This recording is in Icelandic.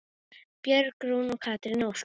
Björg Rún og Katrín Ósk.